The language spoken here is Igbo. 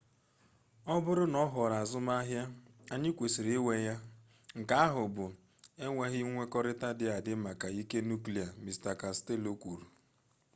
ọ bụrụ na ọ ghọrọ azụmahịa anyị kwesịrị inwe ya nke ahụ bụ enweghị nkwekọrịta dị adị maka ike nuklia mr costello kwuru